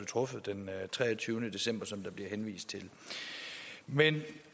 truffet den treogtyvende december som der bliver henvist til men